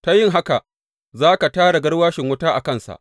Ta yin haka, za ka tara garwashin wuta a kansa.